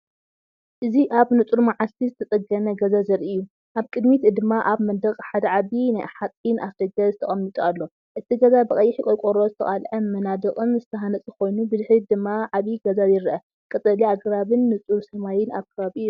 እዚ ኣብ ንጹር መዓልቲ ዝተጸገነ ገዛ ዘርኢ እዩ። ኣብ ቅድሚት ድማ ኣብ መንደቕ ሓደዓቢ ናይ ሓጺን ኣፍደገ ተቐሚጡ ኣሎ። እቲ ገዛ ብቐይሕ ቆርቆሮ ዝተቓልዐ መናድቕን ዝተሃንጸ ኮይኑ፣ ብድሕሪት ድማ ዓቢ ገዛ ይርአ። ቀጠልያ ኣግራብን ንጹር ሰማይን ኣብ ከባቢኡ ይርአ።